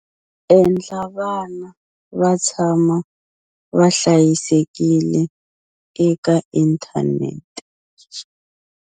Endla vana va tshama va hlayisekile eka inthanete